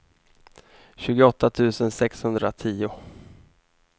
tjugoåtta tusen sexhundratio